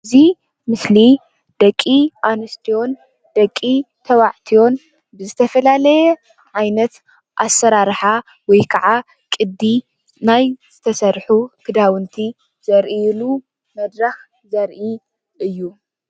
እዙይ ምስሊ ደቂ ኣንስትዮን ደቂ ተባዕትዮን ብዝትፈላለየ ዓይነት ኣሰራርሓ ወይከዓ ቅዲ ናይ ዝተሰርሑ ክዳውንቲ ዘሪኢዩሉ መድረክ ዘሪኢ እዩ።